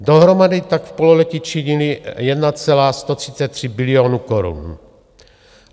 Dohromady tak v pololetí činily 1,133 bilionu korun.